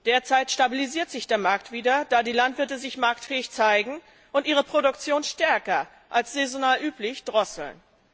Derzeit stabilisiert sich der Markt wieder, da die Landwirte sich marktfähig zeigen und ihre Produktion stärker als saisonal üblich drosseln.